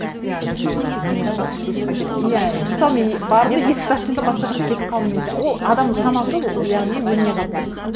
иә мысалы минустан плюсқа кеткен сияқты мысалы мен бардым есікті аштым да басқа жаққа кетіп қалдым деген ол адамның санасы яғни өлмей қалып тұр